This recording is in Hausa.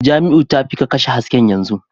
Jamiu, tafi ka kashe hasken yanzu